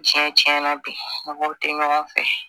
Tiɲɛ tiɲɛna bi mɔgɔw tɛ ɲɔgɔn fɛ